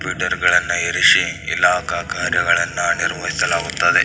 Twitter ಗಳನ್ನ ಇರಿಸಿ ಇಲಾಖ ಕಾರ್ಯಗಳನ್ನ ನಿರ್ವಹಿಸಲಾಗುತ್ತದೆ .